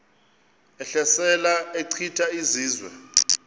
ehlasela echitha izizwe